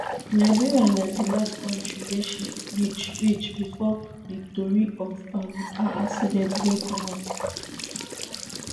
liberia na di last kontri wey she reach reach before di tori of um her accident bin comot